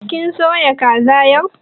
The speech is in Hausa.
Kin soya kaza yau?